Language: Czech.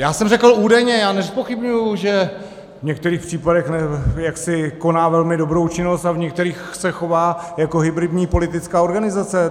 Já jsem řekl údajně, já nezpochybňuji, že v některých případech jaksi koná velmi dobrou činnost a v některých se chová jako hybridní politická organizace.